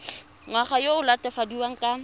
ngwana yo o latofadiwang ka